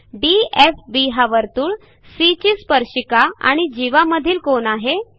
DFB हा वर्तुळ C ची स्पर्शिका आणि जीवा मधील कोन आहे